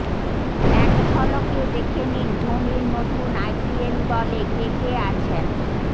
এক ঝলকে দেখে নিন ধোনির নতুন আইপিএল দলে কে কে আছেন